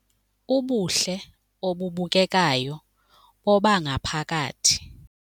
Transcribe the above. Ubuhle obubukekayo bobangaphakathi.